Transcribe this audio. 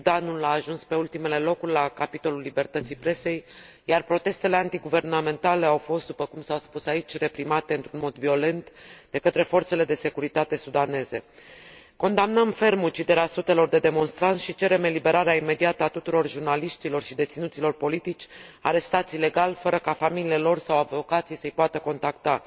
Sudanul a ajuns pe ultimele locuri la capitolul libertății presei, iar protestele antiguvernamentale au fost, după cum s a spus aici, reprimate într un mod violent de către forțele de securitate sudaneze. Condamnăm ferm uciderea sutelor de demonstranți și cerem eliberarea imediată a tuturor jurnaliștilor și deținuților politici arestați ilegal, fără ca familiile lor sau avocații să i poată contacta.